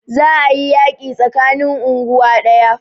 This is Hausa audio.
Za a yi yaƙi tsakanin unguwa ɗaya